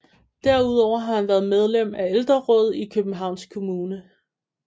Derudover har han været medlem af Ældrerådet i Københavns Kommune